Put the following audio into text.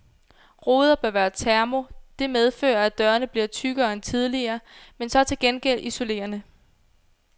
Ruder bør være termo, det medfører, at dørene bliver tykkere end tidligere, men så til gengæld isolerende.